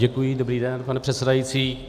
Děkuji, dobrý den, pane předsedající.